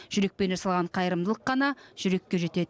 жүрекпен жасалған қайырымдылық қана жүрекке жетеді